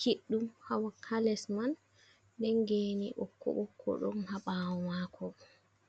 kiɗɗum hales man, nden geni ɓokko ɓokko ɗon haɓawo mako.